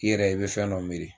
I yɛrɛ i bɛ fɛn dɔ miiri